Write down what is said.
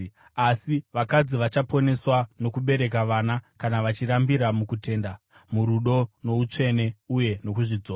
Asi vakadzi vachaponeswa nokubereka vana kana vachirambira mukutenda, murudo noutsvene, uye nokuzvidzora.